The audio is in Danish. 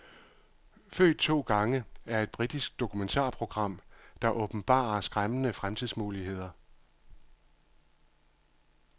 Født to gange er et britisk dokumentarprogram, der åbenbarer skræmmende fremtidsmuligheder.